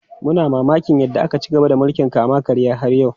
Muna mamakin yadda ake ci gaba da mulkin kama karya har yau.